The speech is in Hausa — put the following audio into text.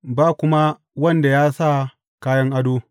Ba kuma wanda ya sa kayan ado.